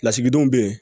Lasigidenw bɛ yen